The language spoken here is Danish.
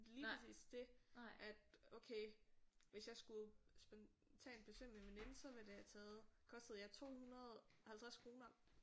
Lige præcis det at okay hvis jeg skulle spontant besøge min veninde så ville det have taget kostet ja 250 kroner